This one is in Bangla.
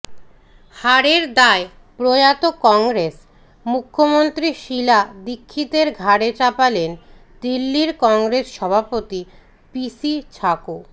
হারের দায় প্রয়াত কংগ্রেস মুখ্যমন্ত্রী শীলা দীক্ষিতের ঘাড়ে চাপালেন দিল্লির কংগ্রেস সভাপতি পিসি ছাকো